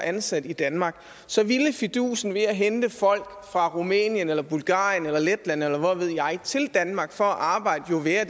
ansat i danmark så ville fidusen ved at hente folk fra rumænien eller bulgarien eller letland eller hvad ved jeg til danmark for at arbejde jo være